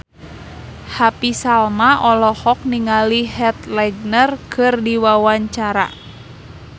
Happy Salma olohok ningali Heath Ledger keur diwawancara